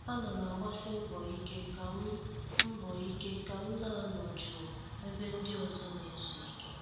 A nam agbasi mbọ ike kam mbọ ike kam na- anọ jụụ ebe ndị ọzọ na-ezu ike.